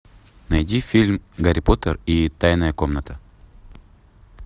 найди фильм гарри поттер и тайная комната